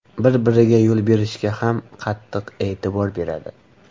Bir-biriga yo‘l berishga ham qattiq e’tibor beradi.